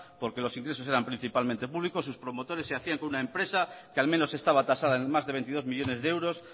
porque los ingresos eran principalmente públicos sus promotores se hacía con una empresa que al menos estaba tasada en más de veintidós millónes de euros